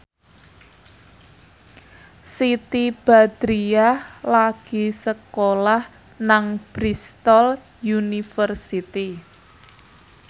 Siti Badriah lagi sekolah nang Bristol university